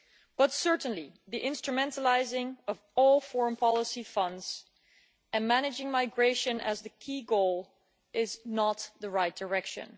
But certainly the instrumentalising of all foreign policy funds and managing migration as the key goal is not the right direction.